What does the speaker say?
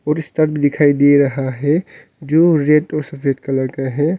दिखाई दे रहा है जो रेड और सफेद कलर का है।